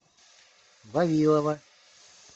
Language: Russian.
вавилова